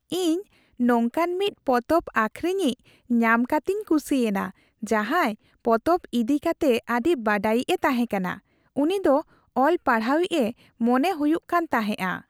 ᱤᱧ ᱱᱚᱝᱠᱟᱱ ᱢᱤᱫ ᱯᱚᱛᱚᱵ ᱟᱹᱠᱷᱨᱤᱧᱤᱡ ᱧᱟᱢ ᱠᱟᱛᱮᱧ ᱠᱩᱥᱤᱭᱮᱱᱟ ᱡᱟᱦᱟᱸᱭ ᱯᱚᱛᱚᱵ ᱤᱫᱤ ᱠᱟᱛᱮᱜ ᱟᱹᱰᱤ ᱵᱟᱰᱟᱭᱤᱡᱼᱮ ᱛᱟᱦᱮᱸᱠᱟᱱᱟ ᱾ ᱩᱱᱤ ᱫᱚ ᱚᱞᱼᱯᱟᱲᱦᱟᱣᱤᱡ ᱮ ᱢᱚᱱᱮ ᱦᱩᱭᱩᱜ ᱠᱟᱱ ᱛᱟᱦᱮᱸᱜᱼᱟ ᱾